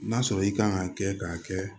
N'a sɔrɔ i kan ka kɛ k'a kɛ